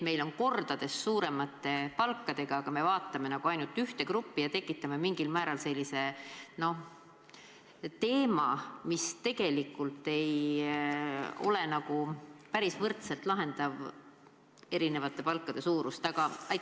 Meil on kordades suuremate palkadega ametikohti, aga me vaatame nagu ainult ühte gruppi ja tekitame sellise teema, mis erinevate palkade küsimust päris võrdselt ei lahendaks.